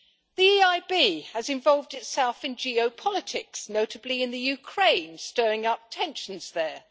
The EIB has involved itself in geopolitics, notably in the Ukraine, stirring up tensions there.